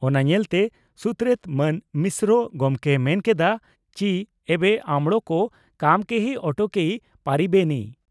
ᱚᱱᱟ ᱧᱮᱞᱛᱮ ᱥᱩᱛᱨᱮᱛ ᱢᱟᱱ ᱢᱤᱥᱨᱚ ᱜᱚᱢᱠᱮᱭ ᱢᱮᱱ ᱠᱮᱫᱼᱟ ᱪᱤ ᱮᱵᱮ ᱟᱢᱬᱚᱠᱚ ᱠᱟᱢᱚ ᱠᱮᱦᱤ ᱚᱴᱠᱮᱭᱤ ᱯᱟᱨᱤᱵᱮᱱᱤ ᱾